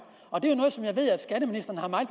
og det